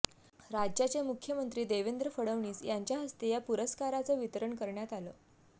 राज्याचे मुख्यमंत्री देवेंद्र फडणवीस यांच्या हस्ते या पुरस्काराचं वितरण करण्यात आलं